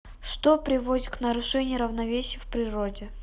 что приводит к нарушению равновесия в природе